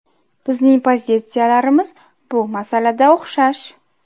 Bizning pozitsiyalarimiz bu masalada o‘xshash.